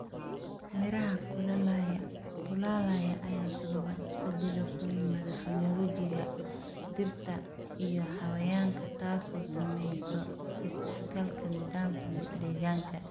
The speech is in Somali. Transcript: Meeraha kulaalaya ayaa sababa isbeddelo ku yimaada phenology-ga dhirta iyo xayawaanka, taasoo saamaysa isdhexgalka nidaamka deegaanka.